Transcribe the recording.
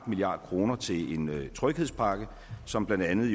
milliard kroner til en tryghedspakke som blandt andet